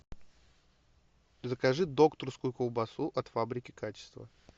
закажи докторскую колбасу от фабрики качества